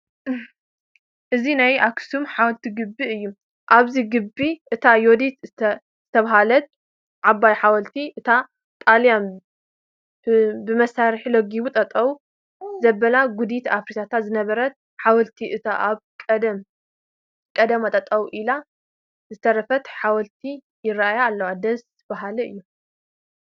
እዚ ናይ ኣኽሱም ሓወልቲ ግቢ እዩ፡፡ ኣብዚ ግቢ እታ ዩዲት ዝሰበረታ ዓባይ ሓወልቲ፣ እታ ጣልያን ብመሳርሒ ለጋጊቡ ጠጠው ዘበላ ጉዲት ኣፍሪሳታ ዝነበረት ሓወልትን እታ ካብ ቀደማ ጠጠው ኢላ ዝተረፈት ሓወልቲ ይርአያ ኣለዋ፡፡ ደስ በሃሊ እዩ፡፡